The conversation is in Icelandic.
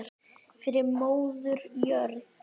Fyrir móður jörð.